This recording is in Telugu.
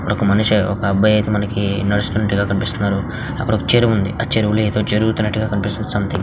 అక్కడ ఒక మనిషి ఒక అబ్బాయి అయితే మనకి నడుస్తున్నట్టుగా కనిపిస్తున్నారు. అక్కడ ఒక చెరువు ఉంది. ఆ చెరువులో ఏదో జరుగుతున్నట్టుగా కనిపిస్తుంది. సంథింగ్ --